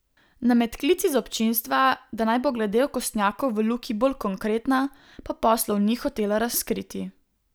Na medklic iz občinstva, da naj bo glede okostnjakov v Luki bolj konkretna, pa poslov ni hotela razkriti.